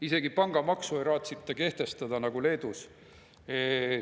Isegi pangamaksu ei raatsita kehtestada, nagu on Leedus.